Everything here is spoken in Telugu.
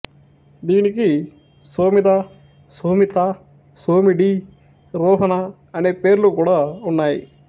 దీనికి సోమిద సోమిత సోమిడి రోహణ అనే పేర్లు కూడా ఉన్నాయి